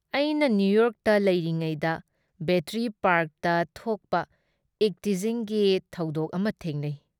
ꯑꯩꯅ ꯅꯤꯌꯨꯌꯣꯔꯛꯇ ꯂꯩꯔꯤꯉꯩꯗ ꯕꯦꯇꯔꯤ ꯄꯥꯔꯛꯇ ꯊꯣꯛꯄ ꯏꯚꯇꯤꯖꯤꯡꯒꯤ ꯊꯧꯗꯣꯛ ꯑꯃ ꯊꯦꯡꯅꯩ ꯫